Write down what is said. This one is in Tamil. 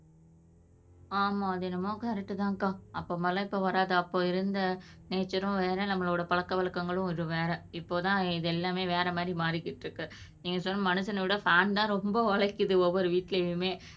ஆமா அது என்னமோக கரெக்ட் தான்க்கா அப்ப மாறி எல்லாம் இப்ப வராது அப்ப இருந்த நேசார்ரும் வேற நம்மளோட பழக்க வழக்கங்களும் இது வேற இப்போதான் இது எல்லாமே வேற மாதிரி மாறிக்கிட்டு இருக்கு நீங்க சொன்ன மனுஷனை விட ஃபேன் தான் ரொம்ப உழைக்குது ஒவ்வொரு வீட்டிலையுமே